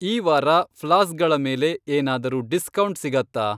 ಈ ವಾರ ಫ್ಲಾಸ್ಕ್ಗಳ ಮೇಲೆ ಏನಾದ್ರೂ ಡಿಸ್ಕೌಂಟ್ ಸಿಗತ್ತಾ?